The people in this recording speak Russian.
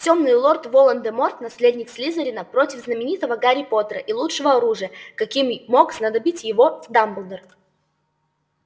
тёмный лорд волан-де-морт наследник слизерина против знаменитого гарри поттера и лучшего оружия каким мог снабдить его дамблдор